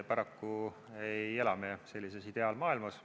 Paraku ei ela me sellises ideaalmaailmas.